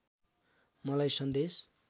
मलाई सन्देश